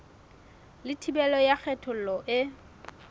le thibelo ya kgethollo e